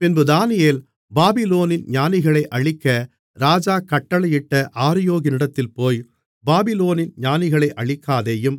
பின்பு தானியேல் பாபிலோனின் ஞானிகளை அழிக்க ராஜா கட்டளையிட்ட ஆரியோகினிடத்தில் போய் பாபிலோனின் ஞானிகளை அழிக்காதேயும்